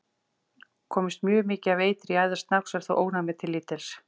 Komist mjög mikið af eitri í æðar snáks er þó ónæmið til lítils.